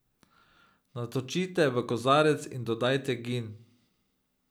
Natočite v kozarec in dodajte gin.